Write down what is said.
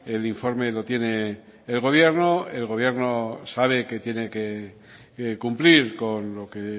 el informe lo tiene el gobierno el gobierno sabe que tiene que cumplir con lo que